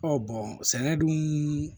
sɛnɛ dun